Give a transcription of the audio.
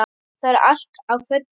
Það er allt á fullu.